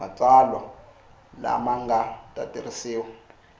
matsalwa lama nga ta tirhisiwa